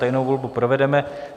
Tajnou volbu provedeme.